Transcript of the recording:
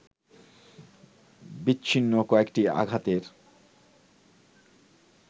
বিচ্ছিন্ন কয়েকটি আঘাতের